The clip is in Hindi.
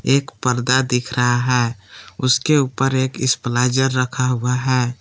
एक पर्दा दिख रहा है उसके ऊपर एक स्प्लाइजर रखा हुआ है।